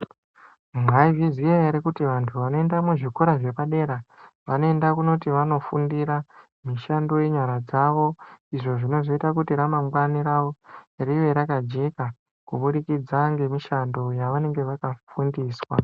Mwaizviziya ere kuti vantu vanoenda kuzvikora zvepadera vanoenda kunoti vanofundira mishando yenyara dzavo, izvo zvinozoita kuti ramangwani ravo rive rakajeka kubudikidza ngemishando yavanenge vakafundiswa,